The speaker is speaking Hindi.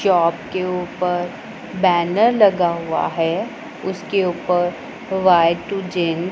चौप के ऊपर बैनर लगा हुआ है उसके ऊपर वाई टू जेन--